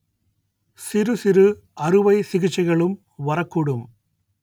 சிறுசிறு அறுவை சிகிச்சைகளும் வரக்கூடும்